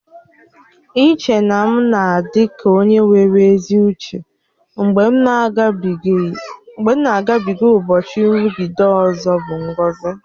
Iche na m na-adị ka onye nwere ezi uche mgbe m na-agabịge ụbọchị nrụgide ọzọ bụ ngọzi